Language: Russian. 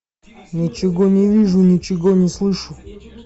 ничего не вижу ничего не слышу